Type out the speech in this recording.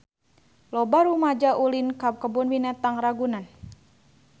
Loba rumaja ulin ka Kebun Binatang Ragunan